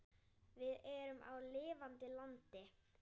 Við erum á lifandi landi.